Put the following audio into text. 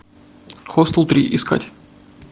хостел три искать